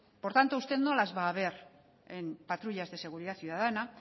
por tanto usted no las va a ver en patrullas de seguridad ciudadana